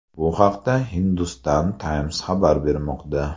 Bu haqda Hindustan Times xabar bermoqda .